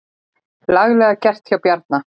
Laglega gert hjá Bjarna.